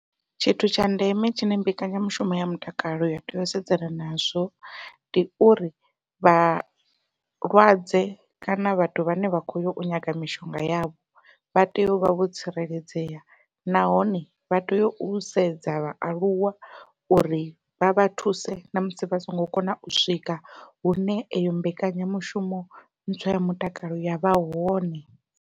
Tshithu tsha ndeme tshine mbekanyamushumo ya mutakalo ya tea u sedzana nazwo, ndi uri vha malwadze kana vhathu vhane vha khou yau nyaga mishonga yavho vha tea u vha vho tsireledzea nahone vha tea u sedza vhaaluwa uri vha vha thuse namusi vha songo kona u swika hune eyo mbekanyamushumo ntswa ya mutakalo yavha hone.